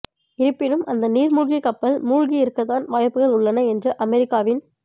இருப்பினும் அந்த நீர் மூழ்கி கப்பல் மூழ்கி இருக்கத்தான் வாய்ப்புகள் உள்ளன என்று அமெரிக்காவின்